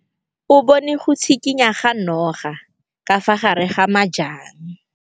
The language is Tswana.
O bone go tshikinya ga noga ka fa gare ga majang.